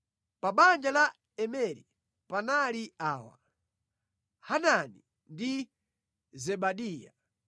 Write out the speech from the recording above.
Pa banja la Imeri panali awa: Hanani ndi Zebadiya.